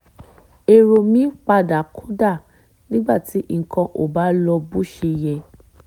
èrò mi padà kódà nígbà tí nǹkan ò bá lọ bó ṣe yẹ